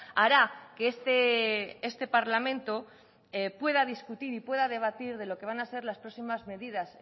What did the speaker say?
hará que este parlamento pueda discutir y pueda debatir de lo que van a ser las próximas medidas